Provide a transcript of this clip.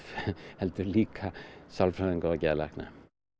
heldur líka sálfræðinga og geðlækna